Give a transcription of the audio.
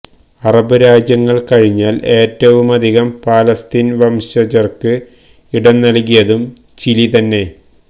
Arab രാജ്യങ്ങള് കഴിഞ്ഞാല് ഏറ്റവുമധികം ഫലസ്തീന് വംശജര്ക്ക് ഇടംനല്കിയതും ചിലി തന്നെ